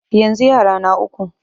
Yanzu yara na uku.